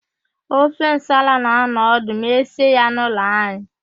Ofe nsala na-anọ ọdụ ma esie ya n'ụlọ anyị.